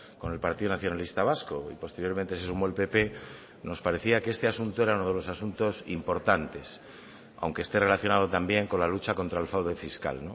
con el partido nacionalista vasco y posteriormente se sumó el pp nos parecía que este asunto era uno de los asuntos importantes aunque esté relacionado también con la lucha contra el fraude fiscal